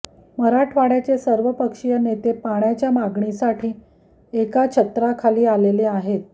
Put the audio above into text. मराठवाड्याचे सर्वपक्षीय नेते पाण्याच्या मागणीसाठी एका छत्राखाली आलेले आहेत